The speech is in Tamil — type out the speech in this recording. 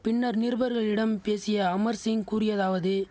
பின்னர் நிருவர்களிடம் பேசிய அமர் சிங் கூறியதாவது